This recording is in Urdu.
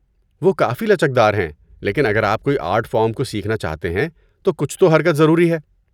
وہ کافی لچک دار ہیں لیکن اگر آپ کوئی آرٹ فارم کو سیکھنا چاہتے ہیں تو کچھ تو حرکت ضروری ہے۔